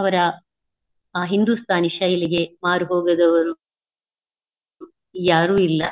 ಅವರ ಆ ಹಿಂಧೂಸ್ಥಾನಿ ಶೈಲಿಗೆ ಮಾರುಹೋಗದವರು ಯಾರು ಇಲ್ಲಾ.